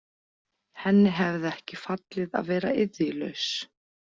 Henni hefði ekki fallið að vera iðjulaus.